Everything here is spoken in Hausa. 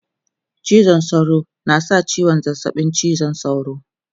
cizon sauro na sa ciwon zazzaɓin cizon sauro